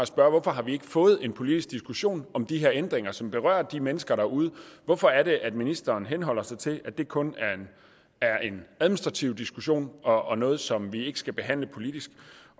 spørge hvorfor har vi ikke fået en politisk diskussion om de her ændringer som berører de mennesker derude hvorfor er det at ministeren henholder sig til at det kun er en administrativ diskussion og noget som vi ikke skal behandle politisk